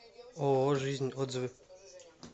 ооо жизнь отзывы